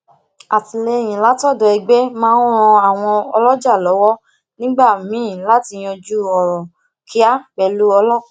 atìléyìn látòdò egbe máa ń ran àwọn oloja lówó nígbà míì láti yanju oro kia pelu ọlópàá